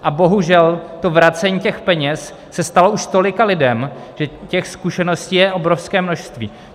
A bohužel to vracení těch peněz se stalo už tolika lidem, že těch zkušeností je obrovské množství.